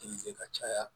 Kilize ka caya